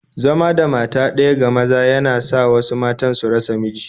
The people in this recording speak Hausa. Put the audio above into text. Zama da mata ɗaya ga maza yana sa wasu matan su rasa miji